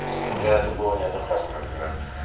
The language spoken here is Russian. у меня это было неоднократно например